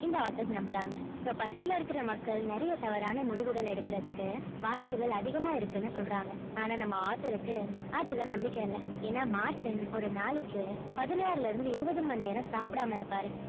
இந்த author நம்புறாங்க so பசியில இருக்கிற மக்கள் நிறைய தவறான முடிவுகள் எடுக்கிறதுக்கு வாய்ப்புகள் அதிகமா இருக்குன்னு சொல்றாங்க ஆனா நம்ம author க்கு அதுல நம்பிக்கை இல்லை ஏன்னா மார்ட்டின் ஒரு நாளைக்கு பதினாறுல இருந்து இருபது மணி நேரம் சாப்பிடாம இருப்பாரு